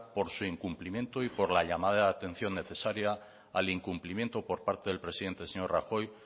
por su incumplimiento y por la llamada de atención necesaria al incumplimiento por parte del presidente señor rajoy